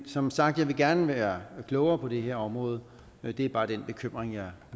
som sagt jeg vil gerne være klogere på det her område men det er bare den bekymring jeg